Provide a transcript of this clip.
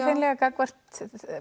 gagnvart